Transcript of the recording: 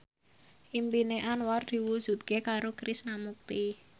impine Anwar diwujudke karo Krishna Mukti